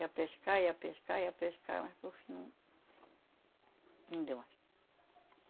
Ia pescar, ia pescar, ia pescar, mas por fim... Não deu mais.